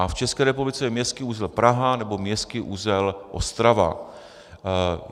A v České republice je městský uzel Praha nebo městský uzel Ostrava.